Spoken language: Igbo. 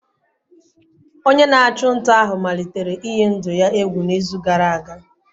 Onye na-achụ nta ahụ malitere iyi ndụ ya egwu n'izu gara aga.